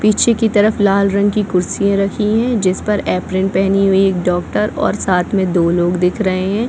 पीछे की तरफ लाल रंग की कुर्सियाँ रखी है जिस पर एप्रेन पहनी हुई एक डॉक्टर और साथ में दो लोग दिख रहे है।